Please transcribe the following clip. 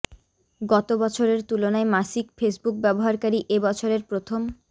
গত বছরের তুলনায় মাসিক ফেসবুক ব্যবহারকারী এ বছরের প্রথম